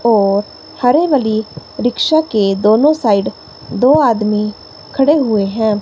और हरे वाली रिक्शा के दोनों साइड दो आदमी खड़े हुए हैं।